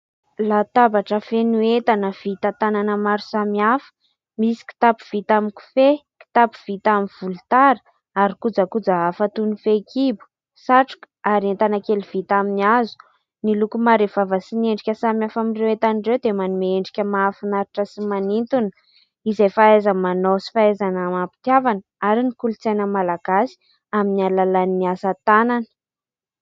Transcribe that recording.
Latabatra feno entana vita tanana maro samihafa : misy kitapo vita amin'ny kofehy, kitapo vita amin'ny volotara ary kojakoja hafa toy ny fehikibo, satroka, ary entana kely vita amin'ny hazo. Ny loko marevaka sy endrika samihafa amin'ireo entan'ireo dia manome endrika mahafinaritra sy manintona izay fahaiza-manao sy fahaizana amam-pitiavana ary ny kolontsaina malagasy amin'ny alalan'ny asa tanana.